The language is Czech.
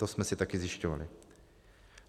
To jsme si také zjišťovali.